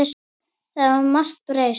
Það hefur margt breyst.